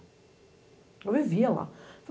Eu vivia lá.